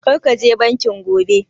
Kar ka je banki gobe!